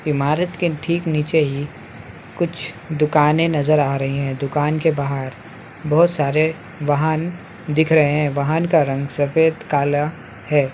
इमारत के ठीक नीचे ही कुछ दुकाने नजर आ रही है दुकान के बाहर बहुत सारे वाहन दिख रहे है वाहन का रंग सफ़ेद काला है।